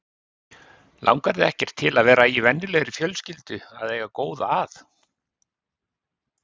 Langar þig ekkert til að vera í venjulegri fjölskyldu að eiga góða að?